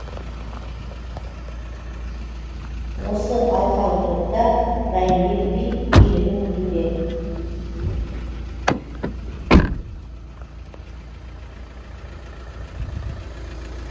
осы алқалы топта райымбек би билігін күтуде